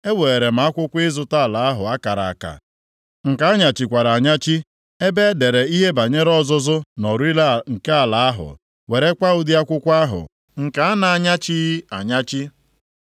Eweere m akwụkwọ ịzụta ala ahụ a kara akara, nke a nyachikwara anyachi, ebe e dere ihe banyere ọzụzụ na orire nke ala ahụ, werekwa ụdị akwụkwọ ahụ nke a na-anyachighị anyachi,